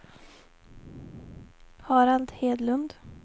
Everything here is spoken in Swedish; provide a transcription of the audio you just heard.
Harald Hedlund